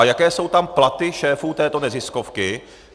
A jaké jsou tam platy šéfů této neziskovky?